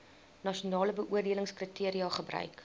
nasionale beoordelingskriteria gebruik